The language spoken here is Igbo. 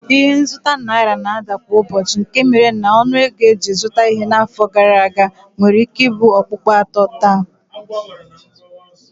Ike nzụta naira na-ada kwa ụbọchị nke mere na ọnụego e ji zụta ihe n'afọ gara aga nwereike ibu okpukpo atọ taa